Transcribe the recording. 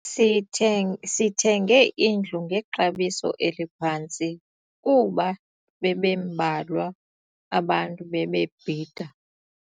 Sitheng sithenge indlu ngexabiso eliphantsi kuba bebembalwa abantu ebebebhida.